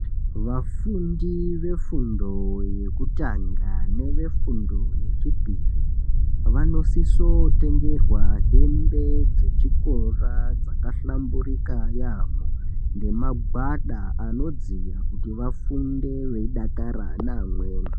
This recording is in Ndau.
Vafundi vefundo yekutanga nevefundo yechipiri vanosiso tengerwa hembe dzechikora dzakahlamburika yaampho nemagwada anodziya kuti vafunde veidakara neamweni.